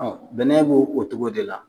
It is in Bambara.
bɛnɛ bo o togo de la.